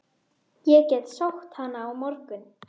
Það eru þung í henni augun.